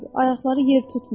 Ayaqları yer tutmur.